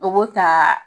O b'o ta